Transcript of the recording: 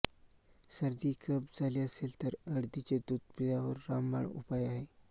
सर्दी कफ झाले असेल तर हळदीचे दूध त्यावर रामबाण उपाय आहे